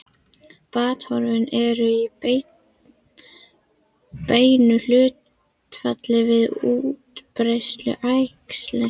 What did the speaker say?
Batahorfur eru í beinu hlutfalli við útbreiðslu æxlisins.